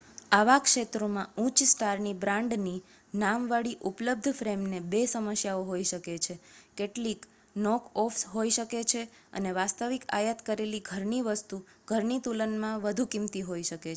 આવા ક્ષેત્રોમાં ઉચ્ચ-સ્ટારની બ્રાન્ડની નામ વાળી ઉપલબ્ધ ફ્રેમને બે સમસ્યાઓ હોય શકે છે કેટલીક નોક-ઓફ્સ હોઈ શકે છે અને વાસ્તવિક આયાત કરેલી ઘરની વસ્તુ ઘરની તુલનમાં વધુ કિંમતી હોઈ શકે છે